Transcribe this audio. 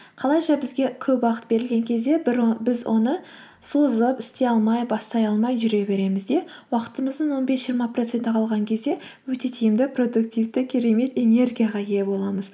қалайша бізге көп уақыт берілген кезде біз оны созып істей алмай бастай алмай жүре береміз де уақытымыздың он бес жиырма проценті қалған кезде өте тиімді продуктивті керемет энергияға ие боламыз